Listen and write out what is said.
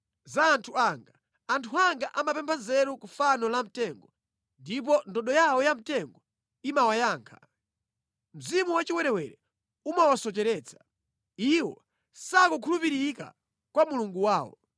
za anthu anga. Anthu anga amapempha nzeru ku fano lamtengo ndipo ndodo yawo yamtengo imawayankha. Mzimu wachiwerewere umawasocheretsa; iwo sakukhulupirika kwa Mulungu wawo.